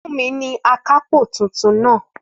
Fúnmi ni akápò tuntun náà